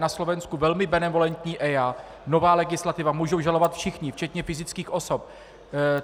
Na Slovensku velmi benevolentní EIA, nová legislativa, můžou žalovat všichni včetně fyzických osob.